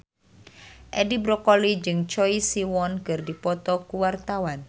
Edi Brokoli jeung Choi Siwon keur dipoto ku wartawan